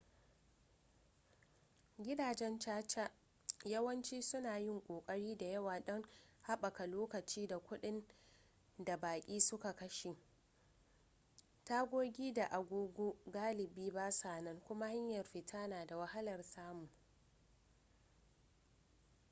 gidajen caca yawanci suna yin ƙoƙari da yawa don haɓaka lokaci da kuɗin da baƙi suka kashe tagogi da agogo galibi basa nan kuma hanyar fita na da wahalar samu